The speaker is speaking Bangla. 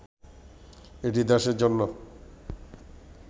এটি দেশের জন্য